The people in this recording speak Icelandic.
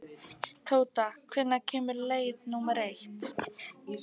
Tóta, hvenær kemur leið númer eitt?